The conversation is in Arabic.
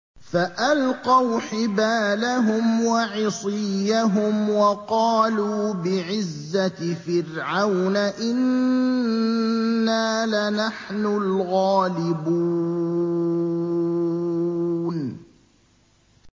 فَأَلْقَوْا حِبَالَهُمْ وَعِصِيَّهُمْ وَقَالُوا بِعِزَّةِ فِرْعَوْنَ إِنَّا لَنَحْنُ الْغَالِبُونَ